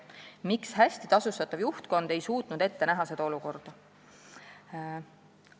Miks hästi tasustatav juhtkond ei suutnud ette näha seda olukorda?